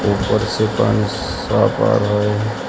ऊपर से पानी साफ आ रहा है।